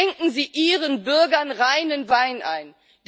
Schenken Sie Ihren Bürgern reinen Wein ein!